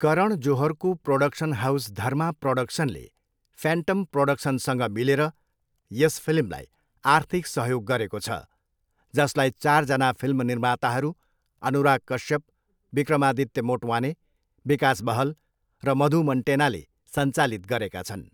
करण जोहरको production house Dharma प्रोडक्सनले Phantom प्रोडक्सनसँग मिलेर यस फिल्मलाई आर्थिक सहयोग गरेको छ, जसलाई चारजना फिल्म निर्माताहरू, अनुराग कश्यप, विक्रमादित्य मोटवाने, विकास बहल र मधु मन्टेनाले सञ्चालित गरेका छन्।